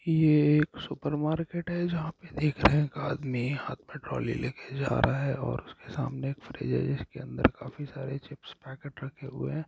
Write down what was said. ये एक सुरप मार्केट है जहा पर देख रहे है एक आदमी हाथ मे ट्रौली लेकर जा रहे है और उसके सामने एक फ्रीज है जिसके अंदर काफी सारे चिप्प पेकेट रखे हुए ह।